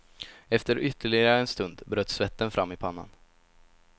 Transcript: Efter ytterligare en stund bröt svetten fram i pannan.